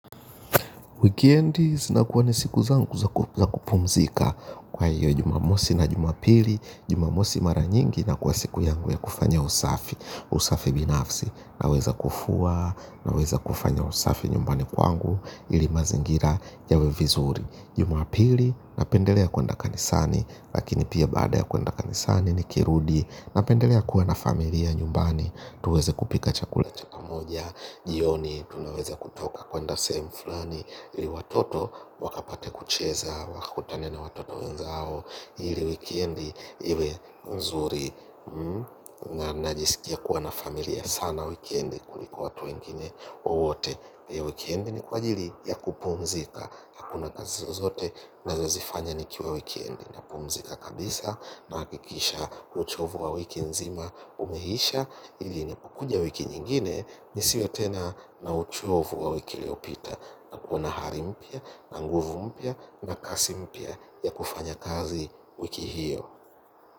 Wikendi zinakuwa ni siku zangu za kupumzika kwa hiyo jumamosi na jumapili, jumamosi mara nyingi inakuwa siku yangu ya kufanya usafi, usafi binafsi naweza kufua naweza kufanya usafi nyumbani kwangu ili mazingira yawe vizuri. Jumapili, napendelea kuenda kanisani lakini pia baada ya kuenda kanisani nikirudi napendelea kuwa na familia nyumbani tuweze kupika chakula cha pamoja. Jioni, tunaweze kutoka kuenda sehemu flani ili watoto wakapate kucheza. Wakutane na watoto wenzao. Ili wikendi, iwe mzuri. Najisikia kuwa na familia sana wikendi kuliko watu wengine wote hii wikendi ni kwa ajili ya kupumzika. Hakuna kazi zozote nazozifanya nikiwa wikendi. Napumzika kabisa nahakikisha uchovu wa wiki nzima umeisha. Ili nikikuja wiki nyingine nisiwe tena na uchovu wa wiki iliopita hakuna hali mpya na nguvu mpya na kasi mpya ya kufanya kazi wiki hiyo.